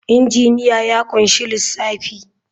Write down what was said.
Injiniya ya ƙunshi lissafi.